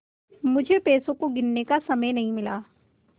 मुझे पैसों को गिनने का समय नहीं मिला